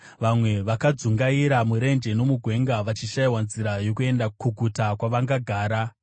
Vamwe vakadzungaira murenje nomugwenga, vachishayiwa nzira yokuenda kuguta kwavangagara.